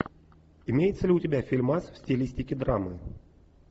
имеется ли у тебя фильмас в стилистике драмы